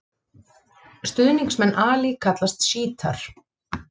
Stuðningsmenn Ali kallast sjítar.